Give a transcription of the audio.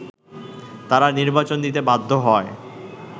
তারা নির্বাচন দিতে বাধ্য হয়